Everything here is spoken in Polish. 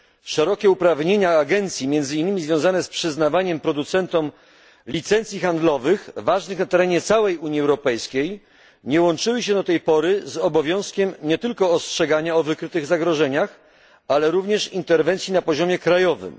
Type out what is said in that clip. Szerokie uprawnienia agencji, między innymi związane z przyznawaniem producentom licencji handlowych ważnych na terenie całej Unii Europejskiej, nie łączyły się do tej pory z obowiązkiem nie tylko ostrzegania o wykrytych zagrożeniach, ale również interwencji na poziomie krajowym.